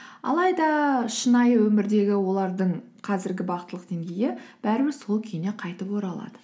алайда шынайы өмірдегі олардың қазіргі бақыттылық деңгейі бәрібір сол күйіне қайтып оралады